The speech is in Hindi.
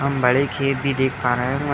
हम बड़े खेत भी देख पा रहे हैं और वह --